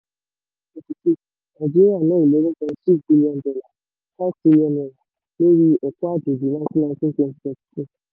nàìjíríà ná eleven point six billion dollar five trillion naira lórí ẹ̀kọ́ àjòjì twenty nineteen twenty twenty two.